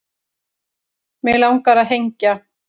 Mig langar að hengja